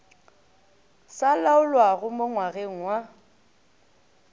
sa laolwago mo ngwageng wa